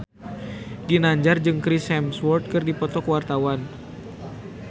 Ginanjar jeung Chris Hemsworth keur dipoto ku wartawan